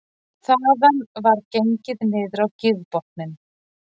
Þaðan var gengið niður á gígbotninn